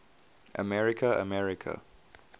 america america